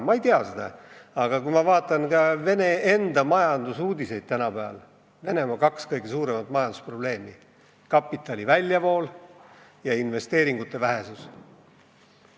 Ma ei tea seda, aga kui ma vaatan ka Venemaa majandusuudiseid, siis näen, et Venemaa kaks kõige suuremat majandusprobleemi on kapitali väljavool ja investeeringute vähesus.